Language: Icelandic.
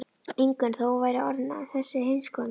Ingunn þó hún væri orðin þessi heimskona.